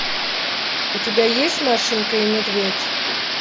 у тебя есть машенька и медведь